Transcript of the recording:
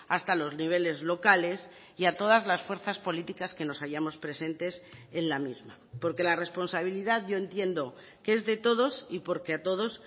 hasta los niveles locales y a todas las fuerzas políticas que nos hayamos presentes en la misma porque la responsabilidad yo entiendo que es de todos y porque a todos